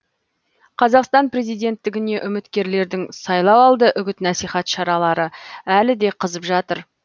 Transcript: қазақстан президенттігіне үміткерлердің сайлауалды үгіт насихат шаралары әлі де қызып жатыр